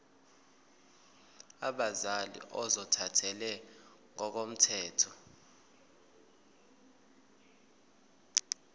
abazali ozothathele ngokomthetho